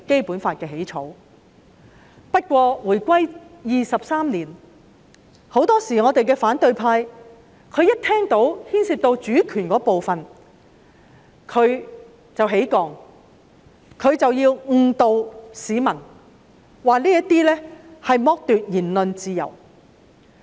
不過，回歸23年，反對派很多時候只要聽到牽涉主權便會反抗，誤導市民說這是剝奪言論自由。